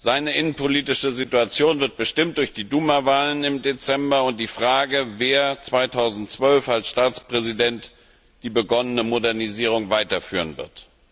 Seine innenpolitische Situation wird bestimmt durch die Duma Wahlen im Dezember und die Frage, wer 2012 als Staatspräsident die begonnene Modernisierung weiterführen wird.